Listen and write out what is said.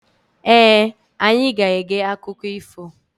Ee, anyị ga-ege akụkọ ifo.